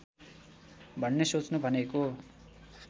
भन्ने सोच्नु भनेको